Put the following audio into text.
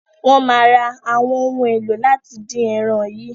Wọ́n máa ra àwọn ohun èlò láti dín ẹran yìí.